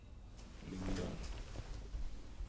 Lyngdal